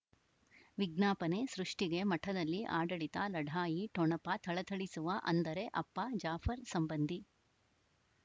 ವಿಜ್ಞಾಪನೆ ಸೃಷ್ಟಿಗೆ ಮಠದಲ್ಲಿ ಆಡಳಿತ ಲಢಾಯಿ ಠೊಣಪ ಥಳಥಳಿಸುವ ಅಂದರೆ ಅಪ್ಪ ಜಾಫರ್ ಸಂಬಂಧಿ